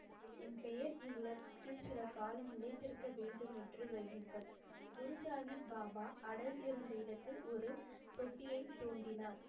என் பெயர் இவ்வுலகத்தில் சில காலம் நிலைத்திருக்க வேண்டும் என்று வையுங்கள். குரு சாஹிப் பாபா அடல் இருந்த இடத்தில் ஒரு தொட்டியைத் தோண்டினார்.